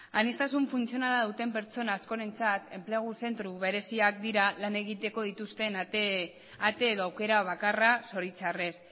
aniztasun funtzionala duten pertsona askorentzat enplegu zentro bereziak direla lan egiteko dituzten ate edo aukera bakarra zoritxarrez